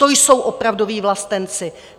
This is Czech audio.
To jsou opravdoví vlastenci!